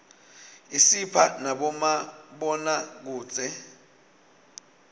isipha nabomabonakudze